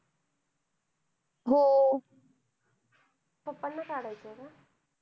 Pappa ना काढायचंय ना?